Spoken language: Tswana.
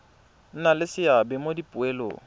nna le seabe mo dipoelong